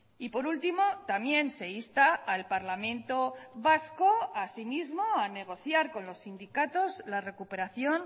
y por último también se insta al parlamento vasco a sí mismo a negociar con los sindicatos la recuperación